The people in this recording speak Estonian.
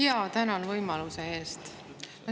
Jaa, tänan võimaluse eest.